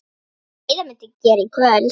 Heiða mundi gera í kvöld.